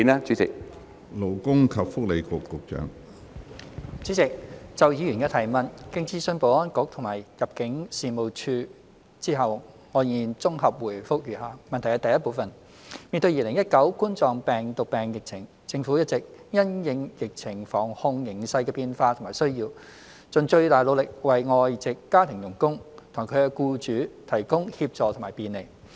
主席，就議員的提問，經諮詢保安局及入境事務處後，我現綜合回覆如下。一面對2019冠狀病毒病疫情，政府一直因應疫情防控形勢的變化和需要，盡最大努力為外籍家庭傭工和其僱主提供協助和便利。